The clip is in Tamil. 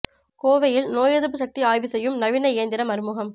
கோவையில் நோய் எதிர்ப்பு சக்தி ஆய்வு செய்யும் நவீன இயந்திரம் அறிமுகம்